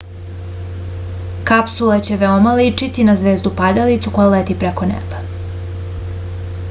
kapsula će veoma ličiti na zvezdu padalicu koja leti preko neba